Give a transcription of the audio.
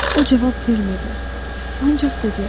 O cavab vermədi, ancaq dedi: